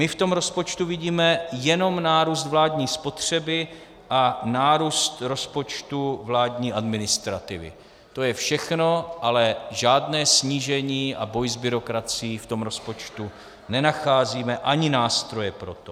My v tom rozpočtu vidíme jenom nárůst vládní spotřeby a nárůst rozpočtu vládní administrativy, to je všechno, ale žádné snížení a boj s byrokracií v tom rozpočtu nenacházíme, ani nástroje pro to.